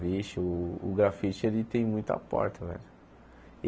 Vixe, o o grafite ele tem muita porta, velho.